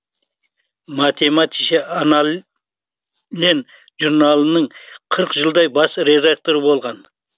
математише анналлен журналының қырық жылдай бас редакторы болған